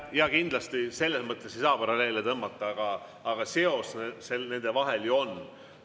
Jaa, kindlasti selles mõttes ei saa paralleele tõmmata, aga seos nende vahel ju on.